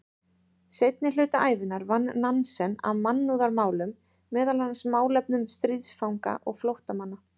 Seinni hluta ævinnar vann Nansen að mannúðarmálum, meðal annars málefnum stríðsfanga og flóttamanna.